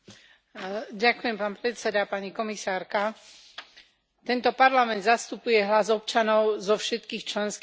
Pani komisárka, tento Parlament zastupuje hlas občanov zo všetkých členských štátov Európskej únie.